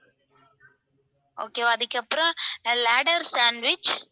okay வா அதுக்கப்புறம் ladder sandwich